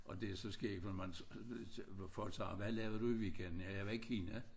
Og det så skægt for man folk siger hvad lavede du i weekenden ja jeg var i Kina